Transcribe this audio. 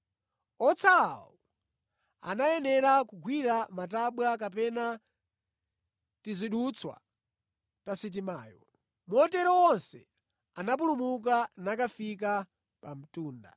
Otsalawo anayenera kugwira matabwa kapena tizidutswa ta sitimayo. Motero onse anapulumuka nakafika pa mtunda.